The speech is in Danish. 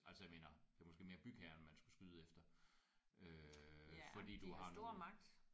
Altså jeg mener det er måske mere bygherren man skulle skyde efter øh fordi du har nogle